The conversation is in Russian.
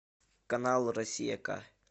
канал россия к